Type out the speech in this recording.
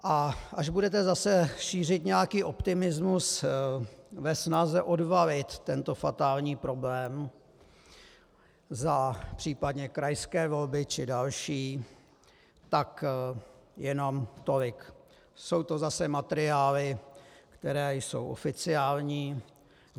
A až budete zase šířit nějaký optimismus ve snaze odvalit tento fatální problém za případně krajské volby či další, tak jenom tolik - jsou to zase materiály, které jsou oficiální.